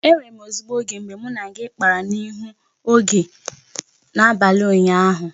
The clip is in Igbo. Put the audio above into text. E nwere m ezigbo oge mgbe mụ na gị kpara n'ihu oge n'abalị ụnyaahụ